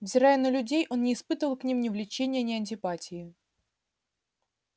взирая на людей он не испытывал к ним ни влечения ни антипатии